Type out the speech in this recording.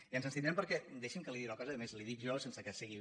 i ens abstindrem perquè deixi’m que li digui una cosa i a més li ho dic jo sense que sigui